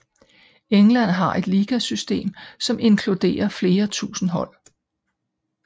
England har et ligasystem som inkluderer flere tusind hold